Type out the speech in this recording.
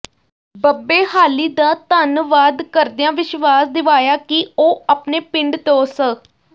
ਬੱਬੇਹਾਲੀ ਦਾ ਧੰਨਵਾਦ ਕਰਦਿਆਂ ਵਿਸ਼ਵਾਸ ਦਿਵਾਇਆ ਕਿ ਉਹ ਆਪਣੇ ਪਿੰਡ ਤੋਂ ਸ